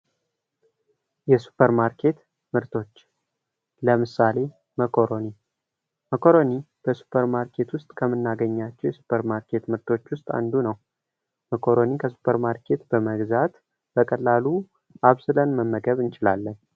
የሱፐር ማርኬት መርቶች ለምሳሌ መኮረኒ ከመኮረኒ በ ሱፐር ማርኬት ውስጥ የምናገኛቸው ሱፐር ማርኬቶች ምርቶች ውስጥ አንዱ ነው። መኮረኒ ከሱፐር ማርኬት በመግዛት በቀላሉ አብስለል መመገብ እንችላለን።